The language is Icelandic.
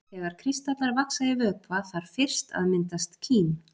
Þegar kristallar vaxa í vökva þarf fyrst að myndast kím.